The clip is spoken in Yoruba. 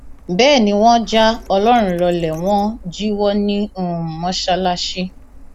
bẹẹ ni wọn já ọlọrun lọlẹ wọn jíwọ ní um mọsálásì